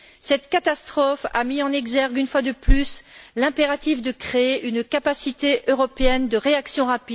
Cette catastrophe a mis en exergue, une fois de plus, le besoin de créer une capacité européenne de réaction rapide.